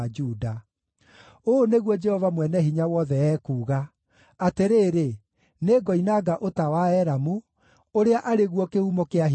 Ũũ nĩguo Jehova Mwene-Hinya-Wothe ekuuga: “Atĩrĩrĩ, nĩngoinanga ũta wa Elamu, ũrĩa arĩ guo kĩhumo kĩa hinya wao.